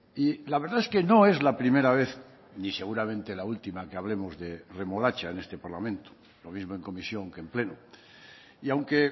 y la verdad es que no es la primera vez ni seguramente la última que hablemos de remolacha en este parlamento lo mismo en comisión que en pleno y aunque